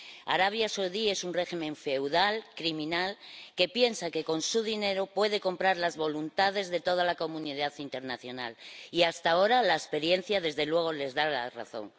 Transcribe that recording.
Arabia Saudí es un régimen feudal, criminal, que piensa que con su dinero puede comprar las voluntades de toda la comunidad internacional y, hasta ahora, la experiencia, desde luego, les da la razón.